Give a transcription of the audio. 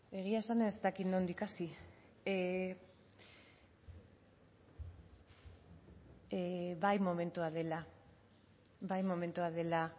egia esan ez dakit nondik hasi bai momentua dela bai momentua dela